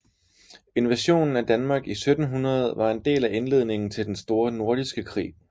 Invasionen af Danmark i 1700 var en del af indledningen til den store nordiske krig